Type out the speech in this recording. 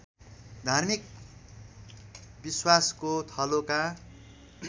धार्मिक विश्वासको थलोका